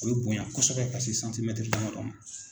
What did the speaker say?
O bɛ bonya kosɛbɛ ka se santimɛtiri damadɔ ma